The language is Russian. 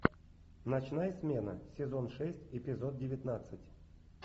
ночная смена сезон шесть эпизод девятнадцать